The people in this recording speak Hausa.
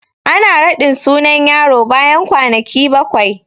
Ana raɗin sunan yaro bayan kwanaki bakwai